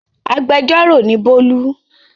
Agbẹjọ́rò ni Bólú.